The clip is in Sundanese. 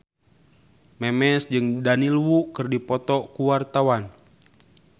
Memes jeung Daniel Wu keur dipoto ku wartawan